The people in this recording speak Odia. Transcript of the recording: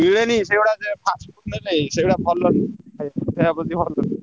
ମିଲେନି ସେଗୁଡା fast food ନେଲେ ସେଗୁଡା ଭଲ ନୁହେ ଦେହ ପ୍ରତି ଭଲ ନୁହଁ।